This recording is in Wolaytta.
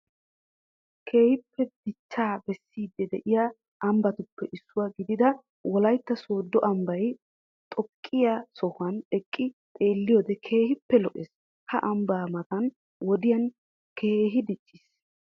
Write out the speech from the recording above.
Keehippe dichchaa bessiidi de'iyaa ambbatuppe issuwaa gidida wollaytta sooddo ambbaay xooqqiyaa sohuwaan eqqi xeelliyoode keehippe lo"ees. ha ambbay mata wodiyaan keehi dicciis.